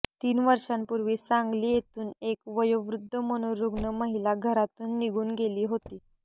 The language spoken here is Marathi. तीन वर्षांपूर्वी सांगली येथून एक वयोवृद्ध मनोरुग्ण महिला घरातून निघून गेली होती